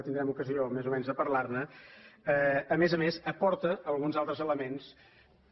i tindrem ocasió més o menys de parlar ne a més a més aporta alguns altres elements que